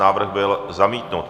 Návrh byl zamítnut.